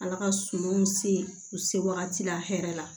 Ala ka sumanw se u se wagati la hɛrɛ la